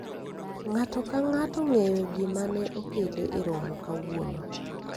ng'ato ka ng'ato ong'eyo gima ne okele e romo kawuono